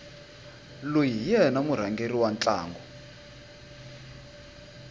loyi hi yena murhangeri wa ntlangu